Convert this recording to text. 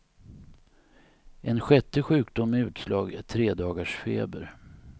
En sjätte sjukdom med utslag är tredagarsfeber.